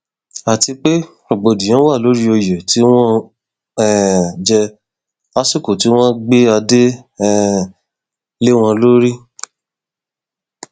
àti pé rògbòdìyàn wà lórí oyè tí wọn um jẹ lásìkò tí wọn gbé adé um lé wọn lórí